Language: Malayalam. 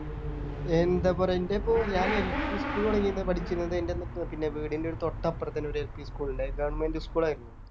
എന്താ പറയാ എൻ്റെ ഇപ്പൊ ഞാൻ LP school തുടങ്ങി പഠിചിനത് എൻ്റെ വീടിൻ്റെ ഒരു തൊട്ടപ്പറത്തു തന്നെ ഒരു LP school ഉണ്ടായി Government school ആയിരുന്നു